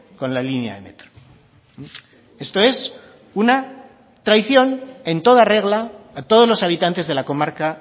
con la línea de metro esto es una traición en toda regla a todos los habitantes de la comarca